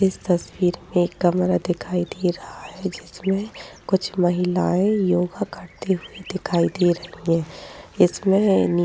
इस तस्वीर में एक कमरा दिखाई दे रहा है। जिसमे कुछ महिलाएं योगा करते हुए दिखाई दे रही हैं। इसमे --